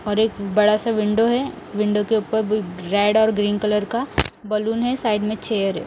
और एक बड़ा सा विंडो है विंडो के ऊपर बि रेड और ग्रीन कलर का बैलून है साइड में चेयर है।